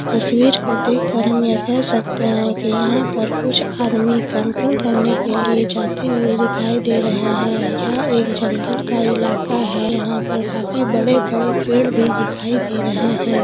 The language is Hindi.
तस्वीर को देख कर हम यह कह सकते हैं यहाँ पर कुछ आदमी कैंपिंग करने के लिए जाते हुए दिखाई दे रहे हैं यह एक जंगल का इलाका है यहाँ पर काफी बड़े-बड़े पेड़ भी दिखाई दे रहे हैं।